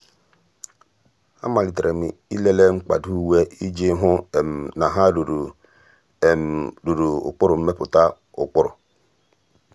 àmàlị́tèrè m ị́lèlé mkpàdò uwe iji hụ́ na há rùrù há rùrù ụ́kpụ́rụ́ mmèpụ́tà ụ́kpụ́rụ́.